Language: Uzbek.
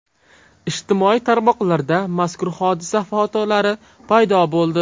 Ijtimoiy tarmoqlarda mazkur hodisa fotolari paydo bo‘ldi.